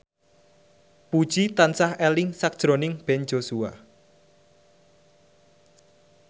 Puji tansah eling sakjroning Ben Joshua